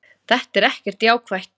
Þetta er ekkert jákvætt.